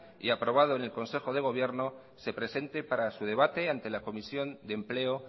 y aprobado en el consejo de gobierno se presente para su debate ante la comisión de empleo